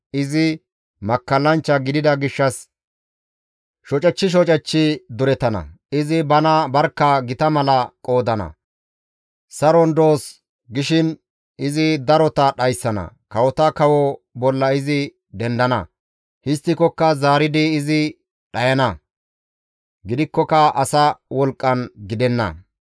Izi makkallanchcha gidida gishshas shocechchi shocechchi durettana; izi bana barkka gita mala qoodana; saron doos gishin izi darota dhayssana; kawota kawo bolla izi dendana; histtikokka zaaridi izi dhayana; gidikkoka asa wolqqan gidenna.